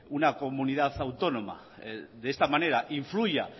una comunidad autónoma de esta manera influya